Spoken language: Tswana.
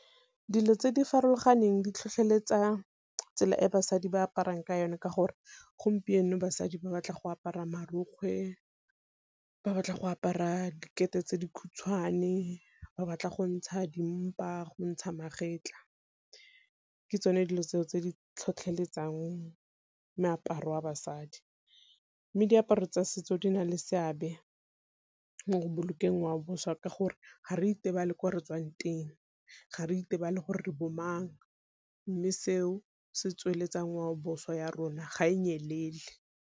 Dilo tse di farologaneng di tlhotlheletsa tsela e basadi ba aparang ka yone ka gore gompieno basadi ba batla go apara marokgwe, ba batla go apara dikete tse dikhutshwane, ba batla go ntsha dimpa go ntsha magetlha. Ke tsone dilo tseo tse di tlhotlheletsang moaparo wa basadi, mme diaparo tsa setso di na le seabe mo go bolokeng ngwao boswa ka gore ga re itebale ko re tswang teng, ga re itebale gore re bo mang, mme seo se tsweletsang ngwaoboswa ya rona ga e nyelele.